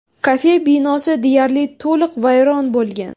Kafe binosi deyarli to‘liq vayron bo‘lgan.